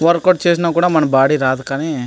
work out చేసిన కూడా body రాదు కానీ --